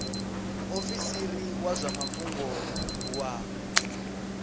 muofisiri wa zwa mafhungo wa